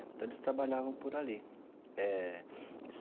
Então eles trabalhavam por ali eh.